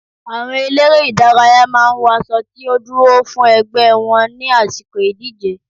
Àwọn eléré ìdárayá máa ń wọ aṣo tí ó dúró fún ẹgbẹ́ wọn ní àsìkò ìdíje.